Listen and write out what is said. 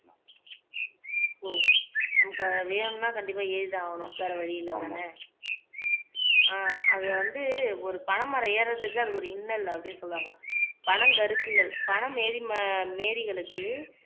ஓ நமக்கு வேணும்னா கண்டிப்பா எறிதான் ஆகணும் வேற வழி இல்லை அதானே ஆஹ் அது வந்து ஒரு பனை மரம் ஏர்றதுக்கு அது ஒரு இன்னல் அப்படின்னு சொல்லுவாங்க பனங்கருக்குகள் பனமே மேரிகளுக்கு